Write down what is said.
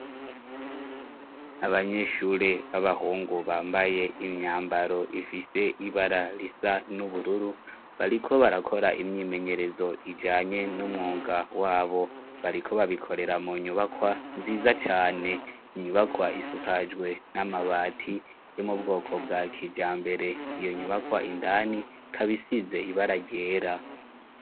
Abanyeshure b'abahungu bambaye imyambaro ifise ibara risa n'ubururu bariko barakora imyimenyerezo ijanye n'umwunga wabo bariko babikorera mu nyubakwa nziza cane inyubakwa isukajwe n'amabati yo mu bwoko bwa kijama mbere iyo nyuma kwa indani kabisize ibara ryera.